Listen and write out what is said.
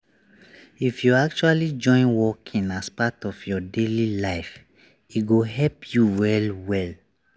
if you actually join walking as part of your daily life e go help you well well.